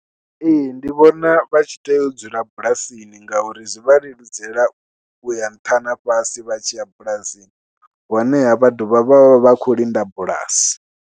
Ee ndi vhona vha tshi tea u dzula bulasini ngauri zwi vha leludzela u ya nṱha na fhasi vha tshi ya bulasini honeha vha dovha vha vha vha khou linda bulasi.